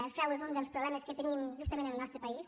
el frau és un dels problemes que tenim justament en el nostre país